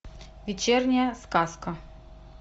вечерняя сказка